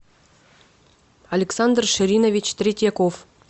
александр ширинович третьяков